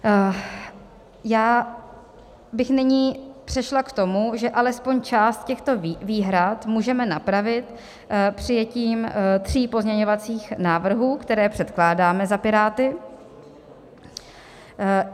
Já bych nyní přešla k tomu, že alespoň část těchto výhrad můžeme napravit přijetím tří pozměňovacích návrhů, které předkládáme za Piráty.